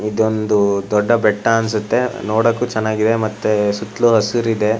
ಇದೊಂದು ದೊಡ್ಡ ಬೆಟ್ಟ ಅನಿಸುತ್ತೆ ನೋಡಕ್ಕೂ ಚೆನ್ನಾಗಿದೆ ಮತ್ತೆ ಸುತ್ತಲೂ ಹಸಿರಿದೆ.